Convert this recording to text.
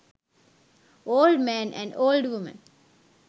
old man and old woman